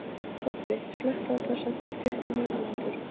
Tobbi, slökktu á þessu eftir tuttugu og níu mínútur.